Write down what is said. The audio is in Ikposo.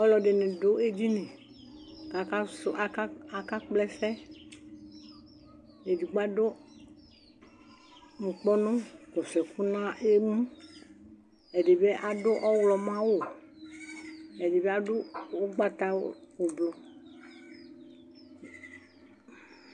alʊɛdɩnɩ dʊ edini kʊ aka sʊ ɛsɛ, edigbo adʊ nukpɔnu nʊ ɔtsɩ ɛkʊ n'emu, edɩbɩ adʊ ɔwlɔmɔ awu, ɛdɩbɩ adʊ ugbatawla